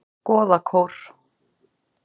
Goðakór